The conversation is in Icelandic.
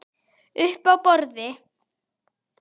Uppi á borði?